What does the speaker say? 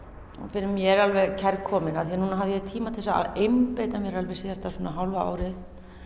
fyrir mér alveg kærkomin af því að núna hafði ég tíma til þess að einbeita mér alveg síðasta svona hálfa árið